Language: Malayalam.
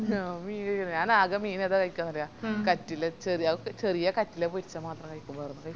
ഞാൻ മീന് ഞാനാകെ മീനേതാ കയിക്കുവന്നറിയ കറ്റില്ല ചെറിയ അത് ചെറിയ കറ്റില്ല പോരിച്ച മാത്രം കയിക്കു വേറൊന്നും